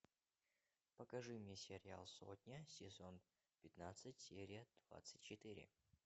покажи мне сериал сотня сезон пятнадцать серия двадцать четыре